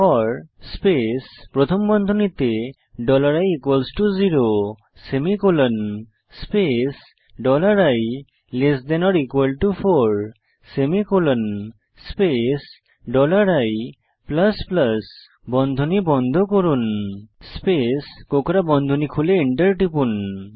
four space প্রথম বন্ধনীতে dollar i equal to zero semicolon space dollar i less than or equal to four semicolon space dollar i plus plus বন্ধনী বন্ধ করুন space কোঁকড়া বন্ধনী খুলে Enter টিপুন